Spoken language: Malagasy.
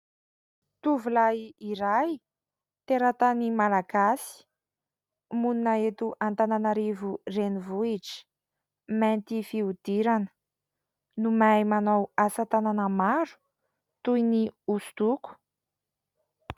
Tovolahy iray teratany malagasy, monina eto Antananarivo renivohitra. Mainty fihodirana no mahay manao asa tanana maro toy ny hosodoko.